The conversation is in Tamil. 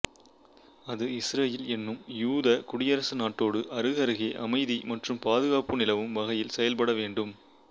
அது இசுரயேல் என்னும் யூத குடியரசு நாட்டோடு அருகருகே அமைதி மற்றும் பாதுகாப்பு நிலவும் வகையில் செயல்பட வேண்டும்